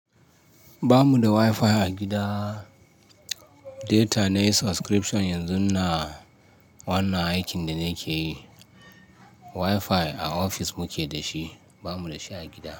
Ba mu da wifi a gida. Deta na yi subscription yanzun na wannan aikin da na ke yi. Wifi a ofis muke da shi, ba mu da shi a gida.